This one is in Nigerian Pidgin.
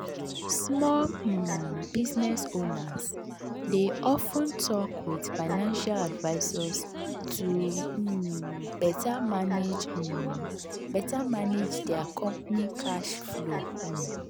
small um business owners dey of ten talk with financial advisors to um better manage um better manage dia company cash flow. um